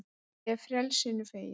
Ég er frelsinu fegin.